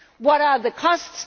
What are the costs?